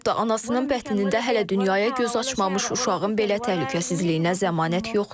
Hətta anasının bətnində hələ dünyaya göz açmamış uşağın belə təhlükəsizliyinə zəmanət yoxdur.